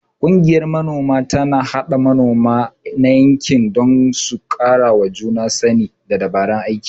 Ƙungiyar Manoma tana haɗa manoma na yankin don su karawa juna sani da dabarun aiki.